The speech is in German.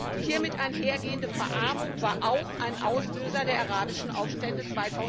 Die damit einhergehende Verarmung war auch ein Auslöser der arabischen Aufstände